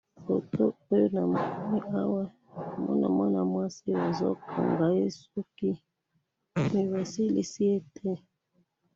photo oyo namoni awa, namoni mwana mwasi bazi kanga ye suki mais ba silisi ye te